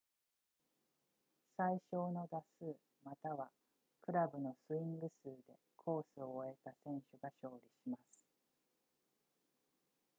最少の打数またはクラブのスイング数でコースを終えた選手が勝利します